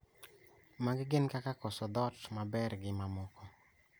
Magi gin kaka koso dhoth maber gi mamoko